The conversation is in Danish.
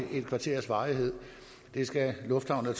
et kvarters varighed det skal lufthavnen